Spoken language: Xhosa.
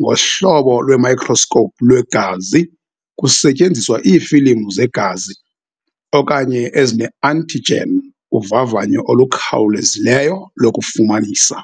ngohlolo lwemayikroskopu lwegazi kusetyenziswa iifilimu zegazi, okanye ezine-antigen uvavanyo olukhawulezileyo lokufumanisa.